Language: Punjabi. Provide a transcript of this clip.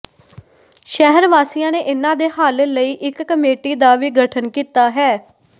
ਸ਼ਹਿਰ ਵਾਸੀਆਂ ਨੇ ਇੰਨਾਂ ਦੇ ਹੱਲ ਲਈ ਇੱਕ ਕਮੇਟੀ ਦਾ ਵੀ ਗਠਨ ਕੀਤਾ ਹੈ